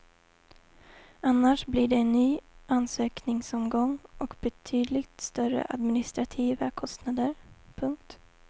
Annars blir det en ny ansökningsomgång och betydligt större administrativa kostnader. punkt